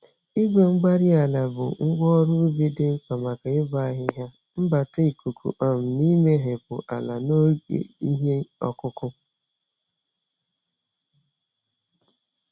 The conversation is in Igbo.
igwe-mgbárí-ala bụ ngwa ọrụ ubi dị mkpa maka ịbọ ahihia, mbata ikuku, um na imehepụ ala n'oge ihe ọkụkụ.